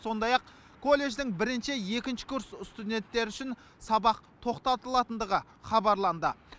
сондай ақ колледждің бірінші екінші курс сутденттері үшін сабақ тоқтатылатындығы хабарланды